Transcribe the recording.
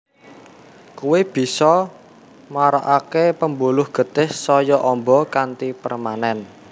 Kuwi bisa marakaké pembuluh getih saya amba kanthi permanen